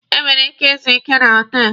E nwere ike izu ike na họtelụ.